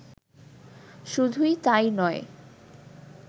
শুধুই তাই নয়